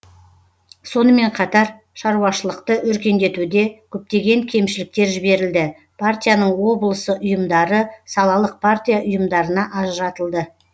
сонымен қатар шаруашылықты өркендетуде көптеген кемшіліктер жіберілді партияның облысы ұйымдары салалық партия ұйымдарына ажыратылды